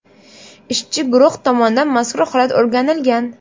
Ishchi guruh tomonidan mazkur holat o‘rganilgan.